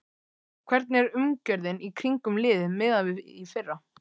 Hvernig er umgjörðin í kringum liðið miðað við í fyrra?